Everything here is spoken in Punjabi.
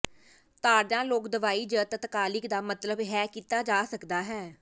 ਤਾੜਨਾ ਲੋਕ ਦਵਾਈ ਜ ਤਤਕਾਲਿਕ ਦਾ ਮਤਲਬ ਹੈ ਕੀਤਾ ਜਾ ਸਕਦਾ ਹੈ